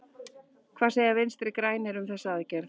Hvað segja Vinstri-grænir um þessa aðgerð?